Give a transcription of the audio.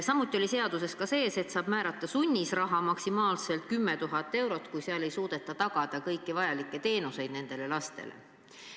Samuti oli seaduses sees, et saab määrata sunniraha maksimaalselt 10 000 eurot, kui ei suudeta tagada kõiki vajalikke teenuseid nendele lastele.